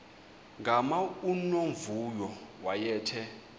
gama unomvuyo wayethe